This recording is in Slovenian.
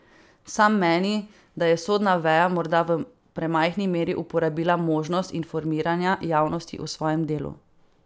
Sam meni, da je sodna veja morda v premajhni meri uporabila možnost informiranja javnosti o svojem delu.